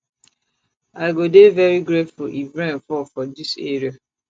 i go dey very grateful if rain fall for dis area